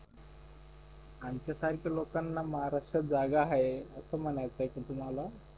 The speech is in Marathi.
आमच्या सारख्या लोकांना महाराष्ट्रात जागा आहे असं म्हणायचे आहे का तुम्हाला